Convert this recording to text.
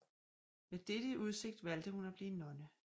Med dette i udsigt valgte hun at blive nonne